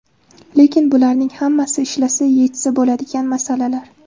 Lekin bularning hammasi ishlasa yechsa bo‘ladigan masalalar.